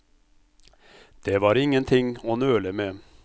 Det var ingenting å nøle med.